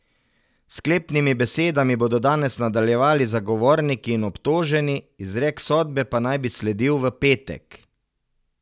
S sklepnimi besedami bodo danes nadaljevali zagovorniki in obtoženi, izrek sodbe pa naj bi sledil v petek.